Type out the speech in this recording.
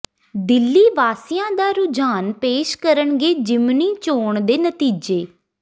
ਦਿੱਲੀ ਵਾਸੀਆਂ ਦਾ ਰੁਝਾਨ ਪੇਸ਼ ਕਰਨਗੇ ਜ਼ਿਮਨੀ ਚੋਣ ਦੇ ਨਤੀਜੇ